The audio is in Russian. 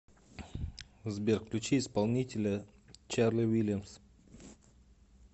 сбер включи исполнителя чарли вильямс